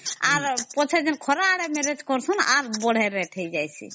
ଖରା ଆଡେ rate ହେବ ନ ଆର rate ବଢସି